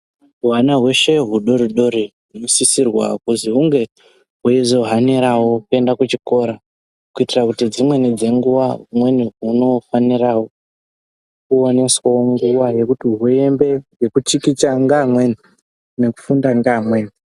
Hwana hweshe hudodori hunosisirwa kuzi hunge hweizohanirawo kuenda kuchikora kuitira kuti dzimweni dzenguva humweni hunofanirawo kuwaniswawo nguwa yekuti hwuyembe yekuchikicha ngeamweni nekufunda ngeamweni.